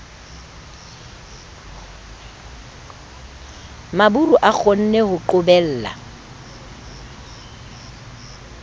maburu a kgonne ho qobella